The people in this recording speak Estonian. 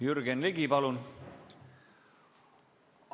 Jürgen Ligi, palun!